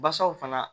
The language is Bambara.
Basaw fana